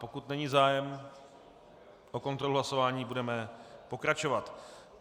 Pokud není zájem o kontrolu hlasování, budeme pokračovat.